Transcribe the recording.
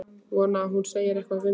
Vonaði að hún segði eitthvað við mig.